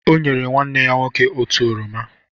O nyere nwanne ya nwoke otu oroma.